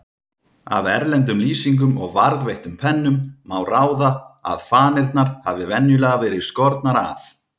Af erlendum lýsingum og varðveittum pennum má ráða að fanirnar hafi venjulega verið skornar af.